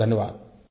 बहुतबहुत धन्यवाद